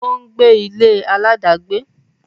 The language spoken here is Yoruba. ó ń gbé ilé aláàdágbé.